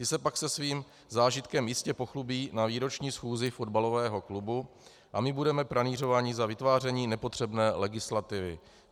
Ty se pak se svým zážitkem jistě pochlubí na výroční schůzi fotbalového klubu a my budeme pranýřováni za vytváření nepotřebné legislativy.